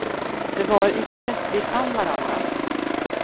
Det var i det vi fann varandra.